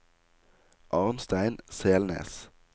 Arnstein Selnes